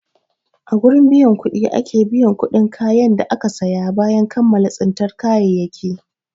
A gurin biyan kuɗi ake biyan kuɗin kayan da aka saya bayan kammala tsintan kayayyaki.